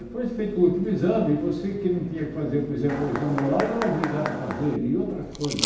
Depois de feito o último exame, você que não tinha que fazer, por exemplo, o exame oral, era obrigado a fazer e outras coisas.